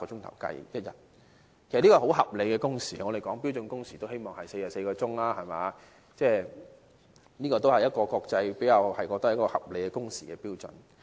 其實這是很合理的工時，我們討論標準工時，都是建議44小時，這都是國際公認的合理工時標準。